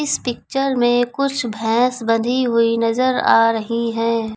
इस पिक्चर में कुछ भैंस बंधी हुई नजर आ रही हैं।